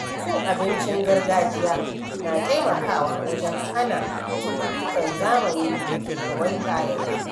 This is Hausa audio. Cin abincin gargajiya na taimakawa wajen hana cututtukan zamani da ke yawaita yanzu.